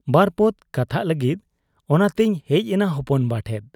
ᱵᱟᱨᱯᱚᱫᱽ ᱠᱟᱛᱷᱟᱜ ᱞᱟᱹᱜᱤᱫ ᱚᱱᱟᱛᱮᱧ ᱦᱮᱡ ᱮᱱᱟ ᱦᱚᱯᱚᱱᱵᱟ ᱴᱷᱮᱫ ᱾